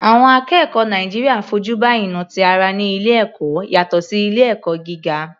Àwọn akẹ́kọ̀ọ́ Nàìjíríà fojú ba ìnà ti ara ní ilé ẹ̀kọ́ yàtọ̀ sí ilé ẹ̀kọ́ gíga.